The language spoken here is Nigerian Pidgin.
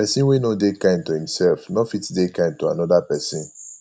persin wey no de kind to imself no fit de kind to another persin